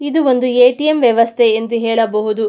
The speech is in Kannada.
ಇದು ಒಂದು ಎ.ಟಿ.ಎಂ ವ್ಯವಸ್ಥೆ ಅಂದು ಹೇಳಬಹುದು.